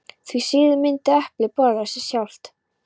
Því síður myndi eplið borða sig sjálft.